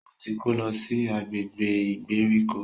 O tí kò lọ si agbègbè ìgbèríko.